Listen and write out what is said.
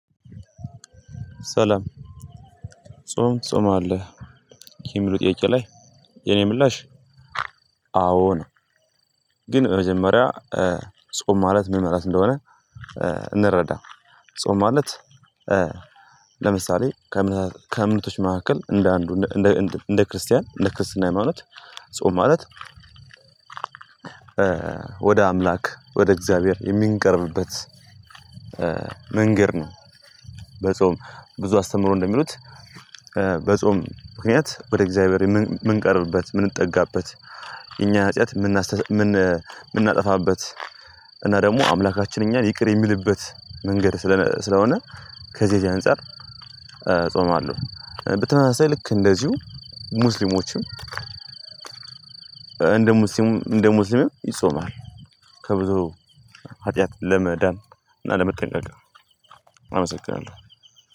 ሰላም ጾም ትጾማለህ የሚለው ጥያቄ ላይ የኔ ምላሽ አዎ ነው። ግን በ መጀመሪያ እ ጾም ማለት ምን? ማለት እንደሆነ እ እንረዳ። ጾም ማለት። ለምሳሌ ከእምነቶች መካከል እንደ አንዱ እንደ ክርስቲያን እንደ ክርስትና ሃይማኖት ጾም ማለት። ወደ አምላክ ወደ እግዚአብሔር የምንቀርብበት እ መንገድ ነው። በጾም ብዙ አስተምሮ እንደሚሉት እ በጾም ምክንያት ወደ እግዚአብሔር የምንቀርብበት የምንጠጋበት እኛ ሀጥያት ምናስተሰ ምን የምናጠፋበት። እና ደግሞ አምላካችን እኛን ይቅር የሚልበት መንገድ ስለነ ስለሆነ። ከዚህ አንፃር እጾማለሁ። በተመሳሳይ ልክ እንደዚሁ ሙስሊሞችም እንደ እ ሙስሊም እንደ ሙስሊም ይጾማል። ከብዙ ኃጢአት ለመዳን እና ለመጠንቀቅ አመሰግናለሁ።